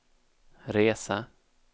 resa